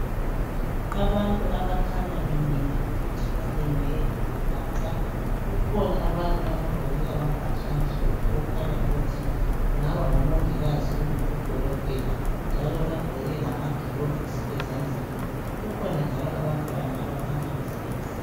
Abantu abakhanya bemile ukuthi balinde ukulatshwa. Kukhona abantu abagqoke amabhatshi amhlophe okukhanya ukuthi kungaba ngomongikazi kumbe odokotela njalo bagqoke lamagilovisi ezandleni. Kukhona njalo abantwana abakhanya behlezi.